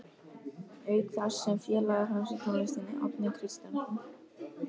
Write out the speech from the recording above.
Auk þess sem félagar hans úr tónlistinni, Árni Kristjánsson